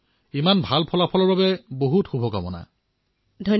এনে ভাল ফলাফলৰ বাবে আপোনাক অনেক অভিনন্দন জনাইছো